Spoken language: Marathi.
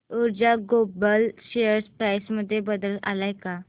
ऊर्जा ग्लोबल शेअर प्राइस मध्ये बदल आलाय का